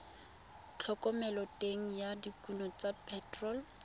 thomeloteng ya dikuno tsa phetherol